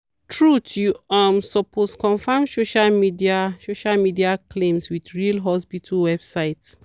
truth you um supoosed confirm social media social media claims with real hospital websites.